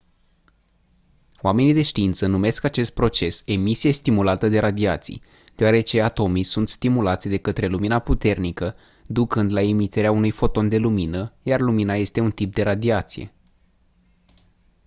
oamenii de știință numesc acest proces «emisie stimulată de radiații» deoarece atomii sunt stimulați de către lumina puternică ducând la emiterea unui foton de lumină iar lumina este un tip de radiație.